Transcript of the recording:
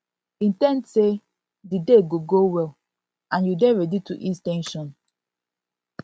in ten d sey di day go go well and you dey ready to ease ten sion to ease ten sion